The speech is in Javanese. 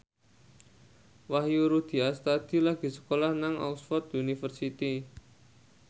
Wahyu Rudi Astadi lagi sekolah nang Oxford university